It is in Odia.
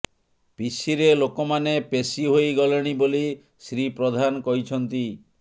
ପିସିରେ ଲୋକମାନେ ପେଶି ହୋଇଗଲେଣି ବୋଲି ଶ୍ରୀ ପ୍ରଧାନ କହିଛନ୍ତି